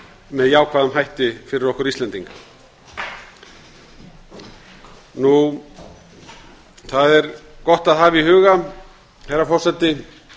með jákvæðum hætti fyrir okkur íslendinga það er gott að hafa í huga herra forseti